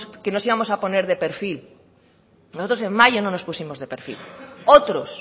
que nos íbamos a poner de perfil nosotros en mayo no nos pusimos de perfil otros